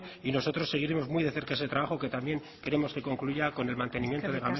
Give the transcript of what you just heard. y nosotros seguiremos muy de cerca ese trabajo que también queremos que concluya con el mantenimiento de